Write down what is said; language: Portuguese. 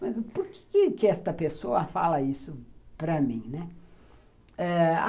Mas por que que esta pessoa fala isso para mim, né?